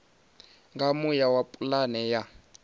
nga muya wa pulane ya